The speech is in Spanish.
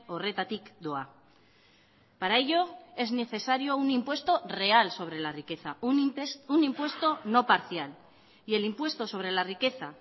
horretatik doa para ello es necesario un impuesto real sobre la riqueza un impuesto no parcial y el impuesto sobre la riqueza